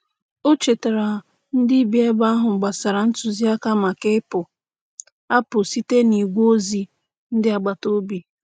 O chetaara ndị bi ebe ahụ gbasara ntụziaka maka ịpụ apụ site n'igwe ozi ndị agbataobi.